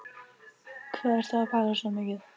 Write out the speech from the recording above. Hvað ertu að pæla svona mikið?